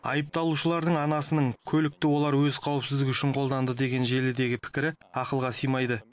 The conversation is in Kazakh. айыпталушылардың анасының көлікті олар өз қауіпсіздігі үшін қолданды деген желідегі пікірі ақылға сыймайды